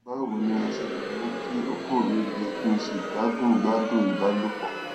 báwo ni mo ṣe lè mú kí oko mi le kí n sì gbádùn gbádùn ìbálòpọ